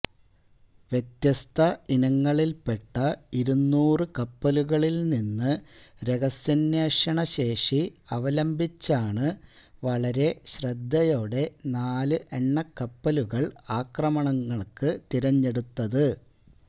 വ്യത്യസ്ത ഇനങ്ങളിൽപെട്ട ഇരുനൂറു കപ്പലുകളിൽനിന്ന് രഹസ്യാന്വേഷണ ശേഷി അവലംബിച്ചാണ് വളരെ ശ്രദ്ധയോടെ നാല് എണ്ണ കപ്പലുകൾ ആക്രമണങ്ങൾക്ക് തെരഞ്ഞെടുത്തത്